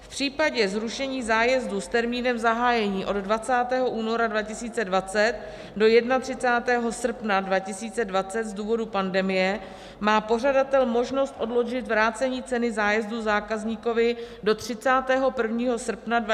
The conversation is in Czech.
V případě zrušení zájezdů s termínem zahájení od 20. února 2020 do 31. srpna 2020 z důvodů pandemie má pořadatel možnost odložit vrácení ceny zájezdu zákazníkovi do 31. srpna 2021, kdy skončí ochranná doba.